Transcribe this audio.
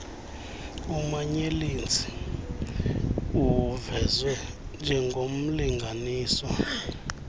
umanyelenzi uvezwe njengornlinganiswa